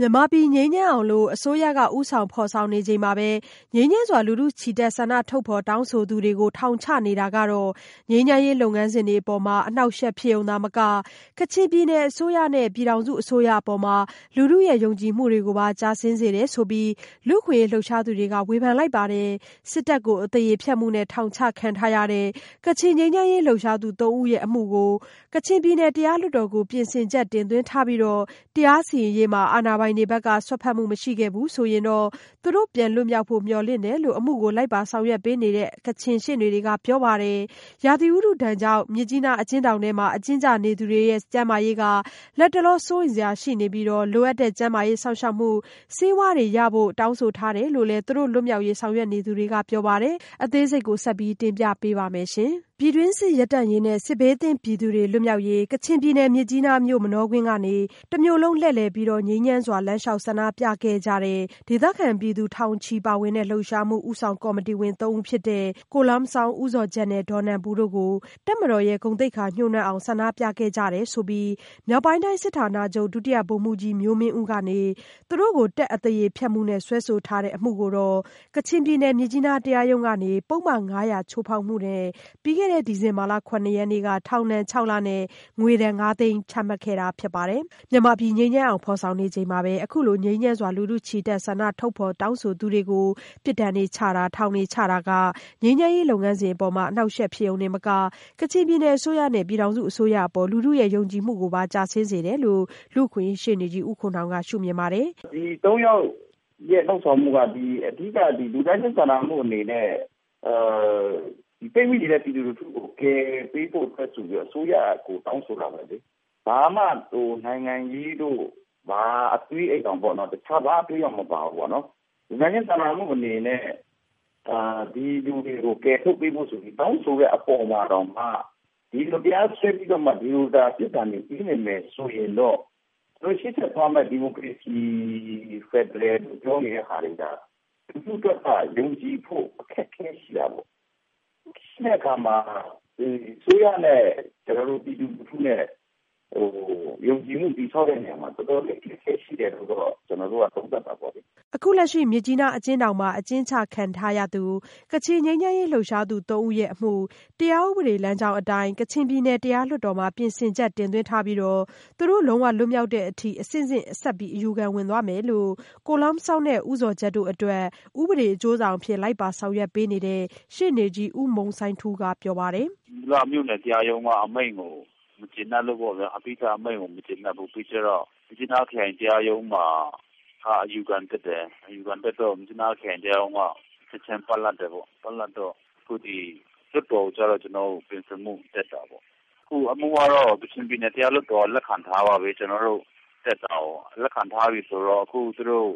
မြန်မာပြည်ငြိမ်းချမ်းအောင် အစိုးရ ဦးဆောင်ဖော်ဆောင်နေချိန်မှာ ငြိမ်းချမ်းစွာ လူထုချီတက်ဆန္ဒထုတ်ဖော်တောင်းဆိုသူတွေကို ထောင်ချနေတာတွေဟာ ငြိမ်းချမ်းရေးလုပ်ငန်းစဉ်တွေအပေါ် အနှောင့်အယှက်ဖြစ်ရုံမက ကချင်ပြည်နယ်အစိုးရနဲ့ ပြည်ထောင်စုအစိုးရအပေါ် လူထုရဲ့ယုံကြည်မှုကိုပါ ကျဆင်းစေတယ်ဆိုပြီး လူ့အခွင့်အရေးလှုပ်ရှားသူတွေက ဝေဖန်လိုက်ပါတယ်။ စစ်တပ်ကို အသရေဖျက်မှုနဲ့ ထောင်ချခံထားရတဲ့ ကချင်ငြိမ်းချမ်းရေး လှုပ်ရှားသူ ၃ ဦး အမှု ကချင်ပြည်နယ် တရားလွှတ်တော်ကို ပြင်ဆင်ချက် တင်သွင်းထားပြီး တရားစီရင်ရေးမှာ အာဏာပိုင်တွေဘက်က စွက်ဖက်မှုမရှိခဲ့ဘူးဆိုရင်တော့ သူတို့ပြန်လွတ်မြောက်ဖို့ မျှော်လင့်တယ်လို့ အမှုကို လိုက်ပါဆောင်ရွက်ပေးနေတဲ့ ကချင်ရှေ့နေတွေကပြောပါတယ်။ ရာသီဥတုဒဏ်ကြောင့် မြစ်ကြီးနား အကျဉ်းထောင်ထဲ အကျဉ်းကျနေသူတွေရဲ့ ကျန်းမာရေး လတ်တလော စိုးရိမ်စရာရှိနေပြီး လိုအပ်တဲ့ကျန်းမာရေး စောင့်ရှောက်မှု ဆေးဝါးတွေရဖို့ တောင်းဆိုထားတယ်လို့လည်း သူတို့လွတ်မြောက်ရေး ဆောင်ရွက်နေသူတွေကပြောပါတယ်။ မဆုမွန် ဆက်သွယ်မေးမြန်းထားပါတယ်။ ပြည်တွင်းစစ်ရပ်တန့်ရေးနဲ့ စစ်ဘေးသင့်ပြည်သူတွေ လွတ်မြောက်ရေး ကချင်ပြည်နယ် မြစ်ကြီးနားမြို့ မနောကွင်းကနေ တမြို့လုံး လှည့်လည်ပြီး ငြိမ်းချမ်းစွာ လမ်းလျောက်ဆန္ဒပြခဲ့ကြတဲ့ ဒေသခံပြည်သူ ထောင်ချီပါဝင်တဲ့ လှုပ်ရှားမှု ဦးဆောင်ကော်မတီဝင်သုံးဦးဖြစ်တဲ့ ကို Lum Zawng ၊ ဦးဇော်ဂျတ် နဲ့ ဒေါ်နန်ပူတို့ကို တပ်မတော်ရဲ့ ဂုဏ်သိက္ခာညှိုးနွမ်းအောင် ဆန္ဒပြခဲ့ကြတယ်ဆိုပြီး မြောက်ပိုင်းတိုင်း စစ်ဌာနချုပ်- ဒုတိယဗိုလ်မှူးကြီး မျိုးမင်းဦး ကနေ သူတို့ကို တပ်ကို အသရေဖျက်မှုက စွဲဆိုထားတဲ့အမှုကိုတော့ ကချင်ပြည်နယ် မြစ်ကြီးနားတရားရုံးကနေ ပုဒ်မ ၅၀၀ ချိုးဖောက်မှုနဲ့ ပြီးခဲ့တဲ့ ဒီဇင်ဘာလ ၇ ရက်နေ့က ထောင်ဒဏ် လ နဲ့ ငွေဒဏ် ငါးသိန်းကျပ် ချမှတ်လိုက်တာ ဖြစ်ပါတယ်။ မြန်မာပြည်ငြိမ်းချမ်းအောင် အစိုးရဦးဆောင် ဖော်ဆောင်နေချိန်မှာ အခုလို ငြိမ်းချမ်းစွာ လူထုချီတက်ဆန္ဒထုတ်ဖော်တောင်းဆိုမှုတွေကို အခုလို ပြစ်ဒဏ်တွေချမှတ်နေတာ၊ ထောင်ချနေတာတွေဟာ ငြိမ်းချမ်းရေးလုပ်ငန်းစဉ်တွေအပေါ် အနှောင့်အယှက်ဖြစ်ရုံမက ကချင်ပြည်နယ်အစိုးရနဲ့ ပြည်ထောင်စုအစိုးရအပေါ် လူထုရဲ့ယုံကြည်မှုကိုပါ ကျဆင်းစေတယ်လို့လည်း လူ့အခွင့်အရေးရှေ့နေကြီး ဦးခွန်နောင်က ရှု့မြင်ပါတယ်။ “ဒီ ၃ ယောက်ရဲ့လုပ်ဆောင်မှုက အဓိကလူသားချင်းစာနာမှုအနေနဲ့ ပိတ်မိနေတဲ့ပြည်သူတွေကို ကယ်ပေးဖို့အတွက်ဆိုပြီးတော့ အစိုးရကိုတောင်းဆိုတာပဲလေ။ ဘာမှနိုင်ငံရေးတို့ တခြားဘာအသွေးအရောင်မှ မပါဘူးပေါ့နော်။ လူသားချင်းစာနာမှုအနေနဲ့ ဒီလူတွေကိုကယ်ဖို့ တောင်းဆိုတဲ့အပေါ်မှာတောင်မှ တရားစွဲပြီးတော့မှ ဒီလိုပြစ်ဒဏ်တွေ ပေးနေတယ်ဆိုရင်တော့ ရှေ့ဆက်သွားရမယ့် ဒီမိုကရေစီ ဖက်ဒရယ်လို့ ပြောနေတဲ့ဟာတွေက လူထုအတွက်က ယုံကြည်ဖို့အခက်အခဲရှိတာပေါ့။ ရှိတဲ့အခါမှာ ဒီအစိုးရနဲ့ ပြည်သူလူထုနဲ့ ယုံကြည်မှုတည်ဆောက်တဲ့ နေရာမှာ တော်တော်လေးအခက်အခဲရှိတယ်လို့တော့ ကျနော်တို့ကသုံးသပ်တာပေါ့လေ။” အခုလက်ရှိမြစ်ကြီးနားအကျဉ်းထောင်မှာ အကျဉ်းချခံထားရသူ ကချင်ငြိမ်းချမ်းရေးလှုပ်ရှားသူသုံးဦးရဲ့အမှု တရားဥပဒေလမ်းကြောင်းအတိုင်း ကချင်ပြည်နယ်တရားလွှတ်တော်ကို ပြင်ဆင်ချက် တင်သွင်းထားပြီး သူတို့လုံးဝလွတ်မြောက်တဲ့အထိ အဆင့်ဆင့် ဆက်ပြီးအယူခံဝင်သွားမယ်လို့ ကို Lum Zawng၊ ဦးဇော်ဂျတ်တို့အတွက် ဥပဒေအကျိုးဆောင်အဖြစ် လိုက်ပါဆောင်ရွက်ပေးတဲ့ ရှေ့နေကြီး ဦးမုန်စိုင်းထူးက ပြောပါတယ်။ “မူလမြို့နယ်တရားရုံးကအမိန့်ကိုမကျေနပ်လို့ ပေါ့ဗျာ။ မြစ်ကြီးနားခရိုင်တရားရုံးမှာ အယူခံတက်တယ်၊ အယူခံတက်တော့ မြစ်ကြီးနားခရိုင်ရုံးက ချက်ချင်းပ,လပ် တယ်ပေါ့ဗျာ။ ပ,လပ်တော့ အခုလွှတ်တော်ကိုကြတော့ပြင်ဆင်ဖို့တက်တာပေါ့ဗျာ။ အမှုကတော့ ကချင်ပြည်နယ်တရားလွှတ်တော်က လက်ခံထားပါပြီ ကျနော်တို့တက်တာကို လက်ခံထားပြီဆိုတော့အခုသူတို့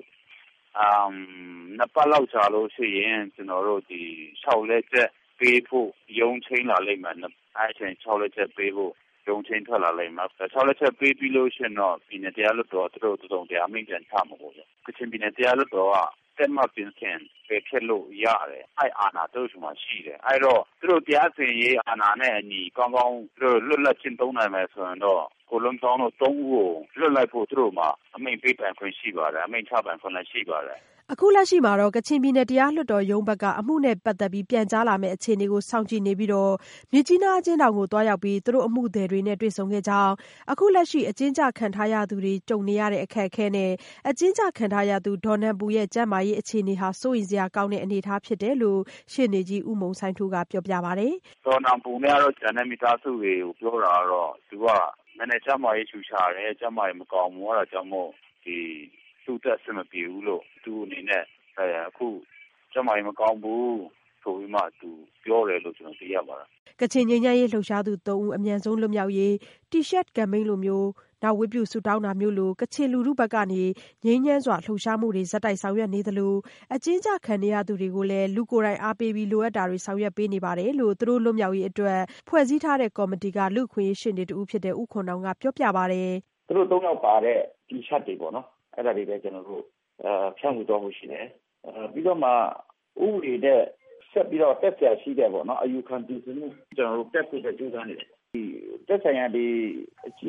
နှစ်ပတ်လောက်ကြာလို့ရှိရင် လျှောက်လဲချက်ပေးဖို့ ရုံးချိန်းပါလိမ့်မယ်။ အဲဒါဆိုရင်လျှောက်လဲချက်ပေးဖို့ ရုံးချိန်းထွက်လာလိမ့်မယ်။ လျှောက်လဲချက်ပေးပြီးလို့ရှိရင်တော့ ပြည်နယ်၊ တရားလွှတ်တော်က သူတို့ကို တစုံတရာ အမိန့်ပြန်ချမှာပေါ့ဗျာ။ ကချင်ပြည်နယ်တရားလွှတ်တော်က တည်မတ်လို့ရှိရင် ပယ်ဖျက်လို့ရတယ်။ အဲဒီအာဏာသူတို့ဆီမှာရှိတယ်။ အဲဒီတော့ သူတို့တရားစီရင်ရေးအာဏာနဲ့အညီ ကောင်းကောင်းလွတ်လပ်ကျင့်သုံးနိုင်မယ်ဆိုလို့ရှိရင်တော့။ ကို Lum Zawung တို့သုံးဦးကို လွှတ်လိုက်ဖို့သူတို့မှာအမိန့်ပေးပိုင်ခွင့်ရှိပါတယ်။ အမိန့်ချပိုင်ခွင့်လည်းရှိပါတယ်။” အခုလက်ရှိမှာတော့ ကချင်ပြည်နယ်တရားလွှတ်တော်ရုံးရဲ့ အမှုနဲ့ပတ်သက်ပြီး ပြန်ကြားလာမယ့် အခြေအနေကို စောင့်ကြည့်နေပြီး မြစ်ကြီးနားအကျဉ်းထောင်ကို သူတို့ရဲ့အမှုသည်တွေနဲ့ သွားရောက်တွေ့ဆုံခဲ့တဲ့အကြောင်းနဲ့ လက်ရှိအကျဉ်းချခံထားရသူတွေရဲ့ အခက်အခဲနဲ့ အကျဉ်းကျခံထားရတဲ့ ဒေါ်နန်ပူရဲ့ ကျန်းမာရေးအခြေအနေကတော့ စိုးရိမ်စရာကောင်းတဲ့အနေအထားဖြစ်တယ်လို့လည်း ရှေ့နေကြီး ဦးမုန်စိုင်းထူးက ပြောပြပါတယ်။ “ဒေါ်နန်ပူနဲ့ ကျန်တဲ့မိသားစုတွေပြောတာကတော့ နည်းနည်းကျန်းမာရေးချူချာတယ်၊ ကျန်းမာရေး မကောင်းဘူး အဲဒါကြောင့်မို့ ဒီသူအတွက်အဆင်မပြေဘူးလို့- သူအနေနဲ့ ကျန်းမာရေးမကောင်းဘူး ဆိုပြီးမှ ပြောတယ်လို့ ကျနော်သိရပါတယ်။” ကချင်ငြိမ်းချမ်းရေးလှုပ်ရှားသူသုံးဦးအတွက် အမြန်ဆုံးလွတ်မြောက်ရေး တီရှပ်ကမ်ပိန်းလို နောက် လူထုဝတ်ပြုဆုတောင်းတာမျိုးလို ကချင်လူထုက ငြိမ်းချမ်းစွာလှုပ်ရှားမှုတွေ ဆောင်ရွက်နေသလို အကျဉ်းကျခံနေရသူတွေကိုလည်း လူကိုယ်တိုင်အားပေးပြီး လိုအပ်တာတွေ ဆောင်ရွက်ပေးနေပါတယ်လို့ သူတို့လွတ်မြောက်ရေးအတွက်ဖွဲ့စည်းထားတဲ့ကော်မတီက လူ့အခွင့်အရေးရှေ့နေ ဦးခွန်နောင်က ပြောပြပါတယ်။ “သူတို့သုံးယောက်ပါတဲ့ တီရှပ်တွေပေါ့နော်-အဲဒါတွေကိုလည်းကျနော်တို့ ဖြန့်ဝေသွားဖို့ရှိတယ်။ ပြီးတော့မှ ဥပဒေနဲ့ ဆက်ပြီးတော့တက်စရာရှိတဲ့ အယူခံပြင်ဆင်မှုကျနော်တို့ တက်ဖို့အတွက် ကြိုးစားနေတယ်။ သက်ဆိုင်ရာအကြီး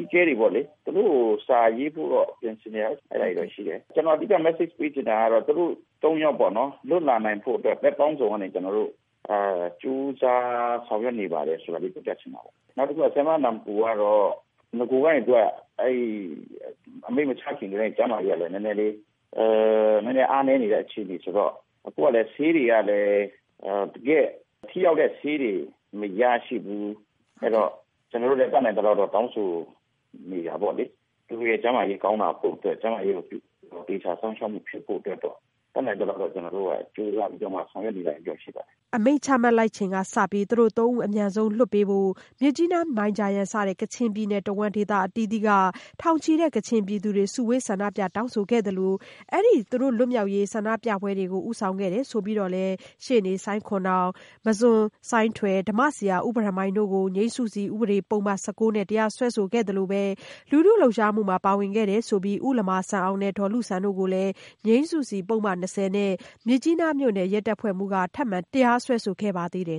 အကဲတွေပေါ့လေ သူတို့ကိုစာရေးဖို့တော့ ပြင်ဆင်နေတယ်အဲဒါတွေတော့ရှိတယ်။ ကျနော် အဓိက Message ပေးချင်တာက သူတို့ သုံးယောက်လွှတ်လာနိုင်ဖို့အတွက် ဘက်ပေါင်းစုံကနေကျနော်တို့ ကြိုးစားဆောင်ရွက်နေပါတယ် ဆိုတာလေး ပြောချင်ပါတယ်။ နောက်တခုကတော့ ဆရာမနန်ပူကတော့ နဂိုကတည်းက အမိန့်မချခင်ကတည်းက ကျန်းမာရေးက နည်းနည်းလေးအားနည်းနေတဲ့အခြေအနေဆိုတော့ ဆေးတွေကလည်း တကယ့်ထိရောက်တဲ့ဆေးတွေ မရရှိဘူး။ အဲဒီတော့ ကျနော်တို့ လည်း တတ်နိုင်သလောက်တော့လည်း တောင်းဆိုနေတာပေါ့လေ။ သူရဲ့ကျန်းမာရေးကောင်းလာဖို့အတွက်ကျန်းမာရေးကို သေချာစောင့်ရှောက်မှုဖြစ်ဖို့အတွက် တတ်နိုင်သလောက် ကြိုးစားပြီးတော့ ဆောင်ရွက်နေတာတော့ရှိပါတယ်။” သူတို့ကို အမိန့်ချမှတ်လိုက်ချိန်ကစလို့ သူတို့သုံးဦးကို အမြန်ဆုံးလွတ်ပေးဖို့ မြစ်ကြီးနား၊ မိုင်ဂျာယန်စတဲ့ ကချင်ပြည်နယ်တဝှမ်းဒေသအသီးသီးက ထောင်ချီတဲ့ကချင်ပြည်သူတွေကလည်း စုဝေးဆန္ဒပြတောင်းဆိုခဲ့ကြပါတယ်၊ အဲ့ဒီ့ဆန္ဒပြပွဲတွေကို ဦးဆောင်ခဲ့တယ်ဆိုပြီး ရှေ့နေဆိုင်းခွမ်အောင်၊ မဆွတ်ဆိုင်းထွယ်၊ ဓမ္မဆရာ ဦးဘရန်မိုင် တို့ကို ငြိမ်းစုစီ ပုဒ်မ ၁၉နဲ့ တရားစွဲခဲ့သလိုလူထုလှုပ်ရှားမှုမှာ ပါဝင်ခဲ့တဲ့ ကိုလမာဆန်အောင်နှင့် ဒေါ်လုဆန်တို့ကိုလည်း ငြိမ်းစုစီပုဒ်မ ၂၀နဲ့ မြစ်ကြီးနားမြို့ မြို့နယ်ရဲတပ်ဖွဲ့မှူး ထပ်မံတရားစွဲခဲ့ပါသေးတယ်